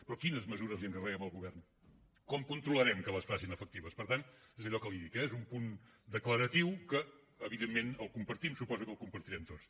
però quines mesures li encarreguem al govern com controlarem que les facin efectives per tant és allò que li dic eh és un punt declaratiu que evidentment compartim suposo que el devem compartir tots